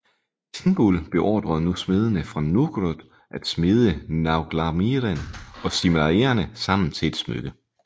Thingol beordrede nu smedene fra Nogrod at smede Nauglamíren og Silmarillerne sammen til et smykke